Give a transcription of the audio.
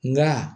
Nka